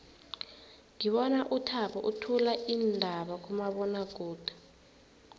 ngibona uthabo uthula iindaba kumabonwakude